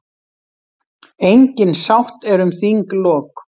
Engin sátt er um þinglok.